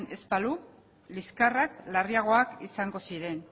ez balu liskarrak larriagoak izango ziren